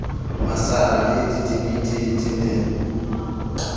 masara le ditimiti di ne